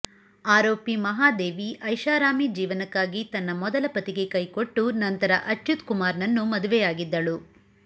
ಆರೋಪಿ ಮಹಾದೇವಿ ಐಷಾರಾಮಿ ಜೀವನಕ್ಕಾಗಿ ತನ್ನ ಮೊದಲ ಪತಿಗೆ ಕೈಕೊಟ್ಟು ನಂತರ ಅಚ್ಯುತ್ ಕುಮಾರ್ ನನ್ನು ಮದುವೆಯಾಗಿದ್ದಳು